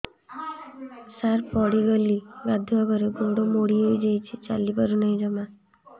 ସାର ପଡ଼ିଗଲି ଗାଧୁଆଘରେ ଗୋଡ ମୋଡି ହେଇଯାଇଛି ଚାଲିପାରୁ ନାହିଁ ଜମା